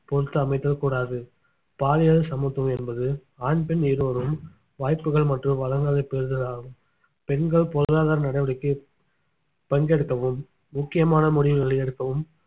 பொறுத்து அமைதல் கூடாது பாலியல் சமத்துவம் என்பது ஆண் பெண் இருவரும் வாய்ப்புகள் மற்றும் வளங்களை பெறுதலாகும் பெண்கள் பொருளாதார நடவடிக்கை பங்கெடுக்கவும் முக்கியமான முடிவுகளை எடுக்கவும்